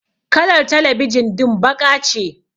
Kalar talebijin din baƙa ce.